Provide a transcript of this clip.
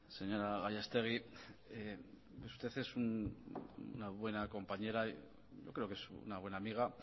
señora gallastegui usted es una buena compañera yo creo que es una buena amiga